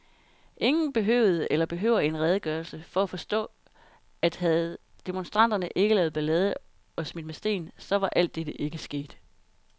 Ingen behøvede eller behøver en redegørelse, for at forstå, at havde demonstranterne ikke lavet ballade og smidt med sten, så var alt dette ikke sket.